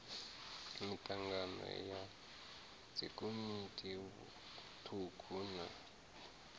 mitangano ya dzikomiti thukhu na